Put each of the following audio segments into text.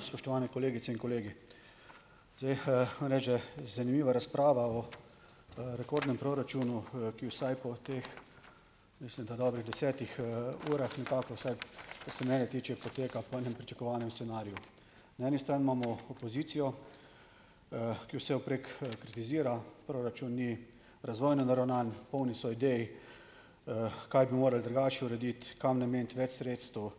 Spoštovane kolegice in kolegi. Zdaj, že, zanimiva razprava o, rekordnem proračunu, ki vsaj po teh, mislim da, dobrih desetih, urah nekako, vsaj kar se mene tiče, poteka po enem pričakovanem scenariju. Na eni strani imamo opozicijo, ki vsevprek, kritizira, proračun ni razvojno naravnan, polni so idej, kaj bi morali drugače urediti, kam nameniti več sredstev,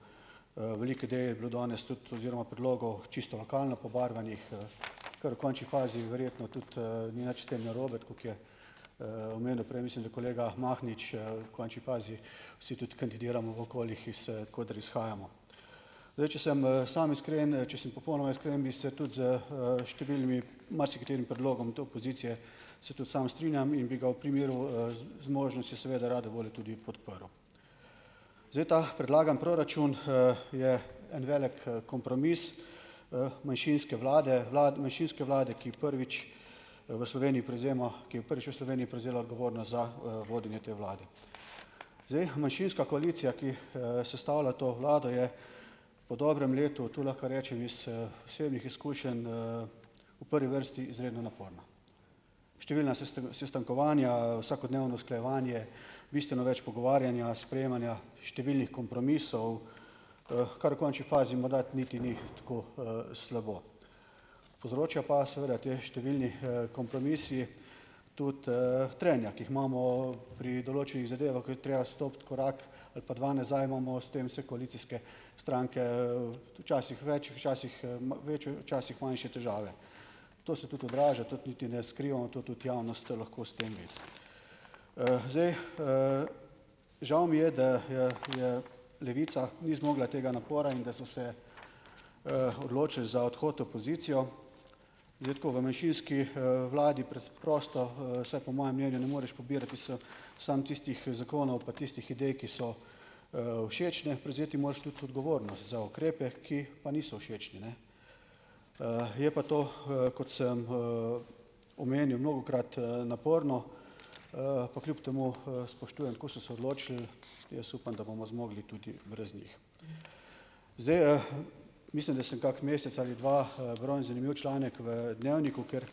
veliko idej je bilo danes tudi oziroma predlogov čisto lokalno pobarvanih, kar v konči fazi verjetno tudi, ni nič s tem narobe, tako kot je, omenil prej, mislim da, kolega Mahnič, v konči fazi vsi tudi kandidiramo v okoljih, iz, koder izhajamo. Zdaj, če sem, sam iskren, če sem popolnoma iskren, bi se tudi s, številnim marsikaterim predlogom tu opozicije se tudi sam strinjam in bi ga v primeru, z, z možnostjo seveda rade volje tudi podprl. Zdaj, ta predlagani proračun, je en velik, kompromis, manjšinske vlade, manjšinske vlade, ki prvič, v Sloveniji prevzema, ki je prvič v Sloveniji prevzela odgovornost za, vodenje te vlade. Zdaj manjšinska koalicija, ki, sestavlja to vlado, je po dobrem letu, to lahko rečem iz, osebnih izkušenj, v prvi vrsti izredno naporna. Številna sestankovanja, vsakodnevno usklajevanje, bistveno več pogovarjanja, sprejemanja številnih kompromisov, kar v končni fazi morda niti ni tako, slabo. Povzročajo pa seveda ti številni, kompromisi tudi, trenja, ki jih imamo pri določenih zadevah, ko je treba stopiti korak ali pa dva nazaj, imamo s tem vse koalicijske stranke, včasih več, včasih, večje, včasih manjše težave. To se tudi odraža, ta niti ne skrivamo, to tudi javnost lahko stemvi. Zdaj, žal mi je, da je Levica ni zmogla tega napora in da so se, odločili za odhod v opozicijo. Zdaj tako, v manjšinski, vladi preprosto, saj po mojem mnenju ne moreš pobirati samo tistih zakonov pa tistih idej, ki so všečne, prevzeti moraš tudi odgovornost za ukrepe, ki pa niso všečni, ne. Je pa to, kot sem, omenil mnogokrat, naporno, pa kljub temu, spoštujem, tako so se odločili. Jaz upam, da bomo zmogli tudi brez njih. Zdaj, mislim, da sem kak mesec ali dva, bral en zanimiv članek v Dnevniku, kjer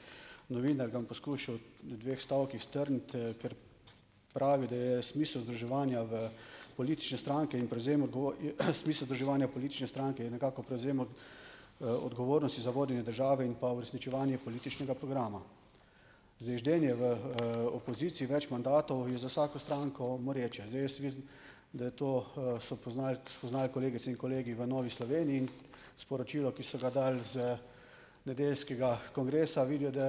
novinar, ga bom poskušal v dveh stavkih strniti, ker pravi, da je smisel združevanja v politične stranke in prevzem smisel združevanja v politične stranke je nekako prevzem odgovornosti za vodenje države in pa uresničevanje političnega programa. Zdaj ždenje v, opoziciji več mandatov je za vsako stranko moreče. Zdaj jaz vidim, da je to, so spoznal kolegice in kolegi v Novi Sloveniji. In sporočilo, ki so ga dali z nedeljskega kongresa, vidijo, da,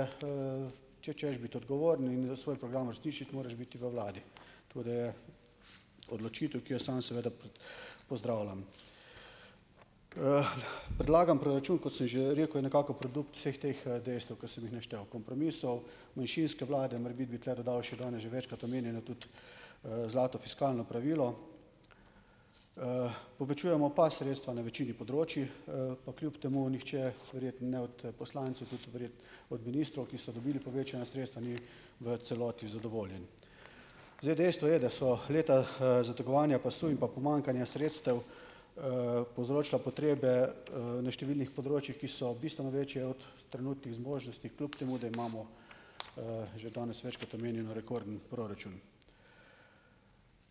če hočeš biti odgovoren in svoj program uresničiti, moraš biti v vladi. To da je odločitev, ki jo samo seveda pozdravljam. Predlagan proračun, kot sem že rekel, je nekako produkt vseh teh dejstev, ki sem jih naštel, kompromisov, manjšinske vlade. Morebiti bi tule dodal še danes že večkrat omenjeno tudi, zlato fiskalno pravilo. Povečujemo pa sredstva na večini področij, pa kljub temu nihče, verjetno ne od poslancev, tudi od ministrov, ki so dobili povečana sredstva, ni v celoti zadovoljen. Zdaj dejstvo je, da so leta, zategovanja pasu in pa pomanjkanja sredstev, povzročila potrebe, na številnih področjih, ki so bistveno večje od trenutnih zmožnosti, kljub temu da imamo, že danes večkrat omenjeno, rekorden proračun.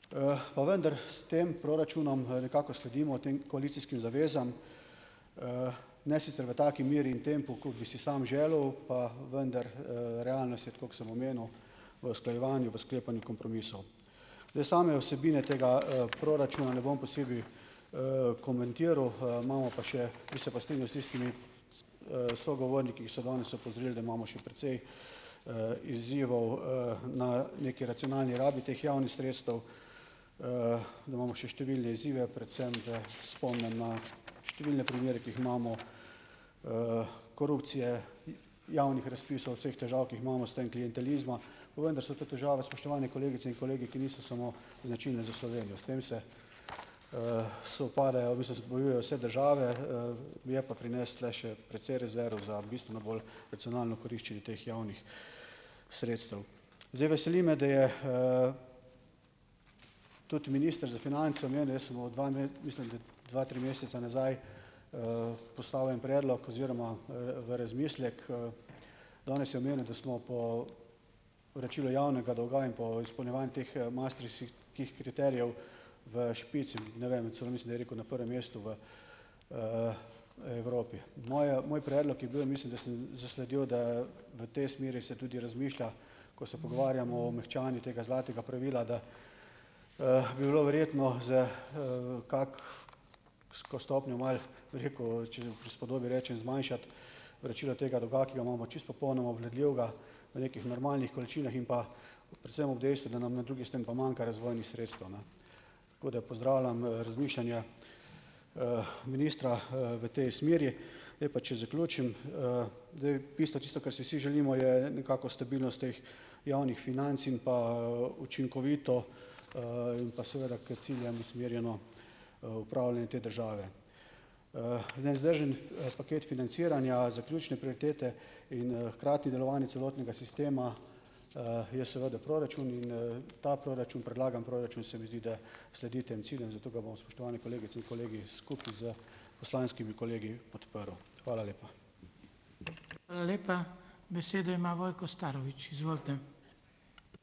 Pa vendar s tem proračunom, nekako sledimo tem koalicijskim zavezam, ne sicer v taki meri in tempu, kot bi si sam želel, pa vendar, realnost je, tako kot sem omenil, v usklajevanju, v sklepanju kompromisov. Zdaj same vsebine tega, proračuna ne bom posebej, komentiral. Imamo pa še, bi se pa strinjal s tistimi, sogovorniki, ki so danes opozorili, da imamo še precej, izzivov, na neki racionalni rabi teh javnih sredstev, da imamo še številne izzive, predvsem da spomnim na številne primere, ki jih imamo, korupcije, javnih razpisov, vseh težav, ki jih imamo, s tem klientelizma. Pa vendar so to težave, spoštovane kolegice in kolegi, ki niso samo značilne za Slovenijo. S tem se spopadajo, v bistvu se bojujejo vse države, Je pa pri nas tule še precej rezerv za bistveno bolj racionalno koriščenje teh javnih sredstev. Zdaj veseli me, da je, tudi minister za finance omenil, jaz sem mu dva mislim, da dva, tri mesece nazaj, poslal en predlog oziroma, v razmislek, Danes je omenil, da smo po vračilu javnega dolga in po izpolnjevanju teh, maastrichtskih kih kriterijev v špici, ne vem, celo mislim, da je rekel na prvem mestu v Evropi. Moj, moj predlog je bil, mislim, da sem, zasledil, da v tej smeri se tudi razmišlja, ko se pogovarjamo o mehčanju tega zlatega pravila, da, bi bilo verjetno za, kako s ko stopnjo malo, bi rekel, če v prispodobi rečem, zmanjšati vračilo tega dolga, ki ga imamo čisto popolnoma obvladljivega v nekih normalnih količinah in pa predvsem ob dejstvu, da nam na drugi strani pa manjka razvojnih sredstev, ne. Tako da pozdravljam, razmišljanja, ministra, v tej smeri. Zdaj pa če zaključim. zdaj, bistvo, tisto, kar si vsi želimo, je nekako stabilnost teh javnih financ in pa, učinkovito, in pa seveda k ciljem usmerjeno, upravljanje te države. Nevzdržen paket financiranja, zaključne prioritete in, hkrati delovanje celotnega sistema, je seveda proračun. In, ta proračun, predlagani proračun, se mi zdi, da sledi tem ciljem, zato ga bom, spoštovane kolegice in kolegi, skupaj s poslanskimi kolegi podprl. Hvala lepa.